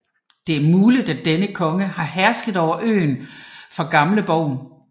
Det er muligt at denne konge har hersket over øen fra Gamleborg